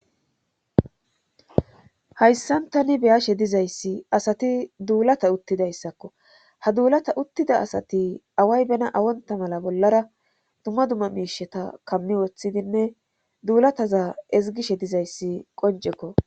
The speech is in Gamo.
Hayssan tani beyashe dizayssi asati duulata uttidayssakko ha duulata uttida asati away bena awonta mala bollara duma dumma miisheta kammi woththidinne duulataza ezigishe dizayssi qoncekko.